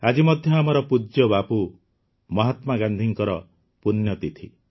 ଆଜି ମଧ୍ୟ ଆମର ପୂଜ୍ୟ ବାପୁ ମହାତ୍ମା ଗାନ୍ଧିଙ୍କ ପୂଣ୍ୟତିଥି